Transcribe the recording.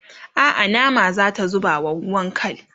a'a nama zata zubawa ruwan kal